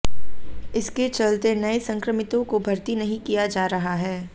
इसके चलते नए संक्रमितों को भर्ती नहीं किया जा रहा है